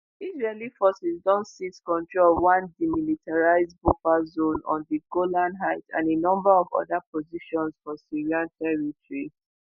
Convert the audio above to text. israeli forces don seize control of one demilitarised buffer zone on di golan heights and a number of oda positions for syrian territory